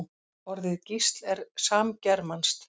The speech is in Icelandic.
Orðið gísl er samgermanskt.